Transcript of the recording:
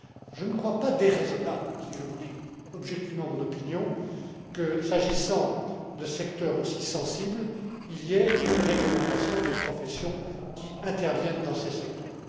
Je ne crois pas déraisonnable, si je vous dis objectivement mon opinion, que, s'agissant de secteurs aussi sensibles, il y ait une réglementation des professions qui interviennent dans ces secteurs.